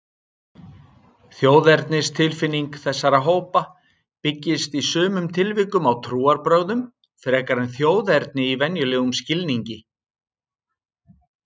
Þjóðernistilfinning þessara hópa byggist í sumum tilvikum á trúarbrögðum frekar en þjóðerni í venjulegum skilningi.